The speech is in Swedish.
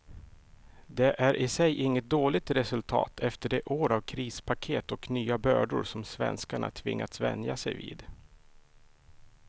Det är i sig inget dåligt resultat efter de år av krispaket och nya bördor som svenskarna tvingats vänja sig vid.